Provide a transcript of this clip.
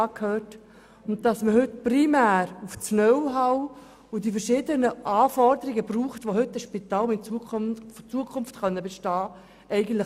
Ich bin froh, dass man heute primär auf Knowhow und die verschiedenen Anforderungen setzt, welche man für ein heutiges Spital braucht, um in Zukunft bestehen zu können.